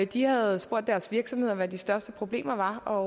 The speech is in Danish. de havde spurgt deres virksomheder hvad de største problemer var og